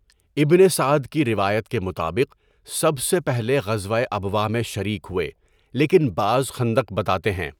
ابنِ سعد کی روایت کے مطابق سب سے پہلے غزوۂ ابواء میں شریک ہوئے لیکن بعض خندق بتاتے ہیں۔